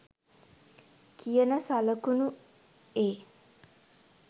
කියන සළකුණු ඒ.